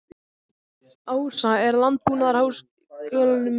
Ása, er opið í Landbúnaðarháskólanum?